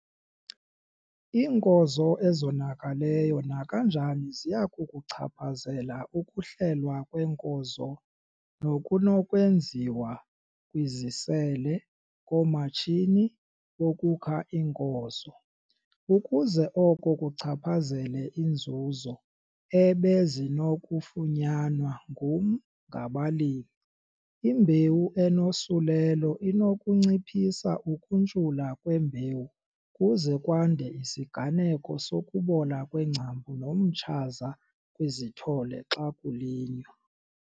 Iinkozo ezonakeleyo nakanjani ziya kukuchaphazela ukuhlelwa kweenkozo nokunokwenziwa kwizisele - koomatshini bokukha iinkozo, ukuze oko kuchaphazele iinzuzo ebezinokufunyanwa ngum-, ngaba-limi. Imbewu enosulelo inokunciphisa ukuntshula kwembewu kuze kwande isiganeko sokubola kweengcambu nomtshaza kwizithole xa kulinywa.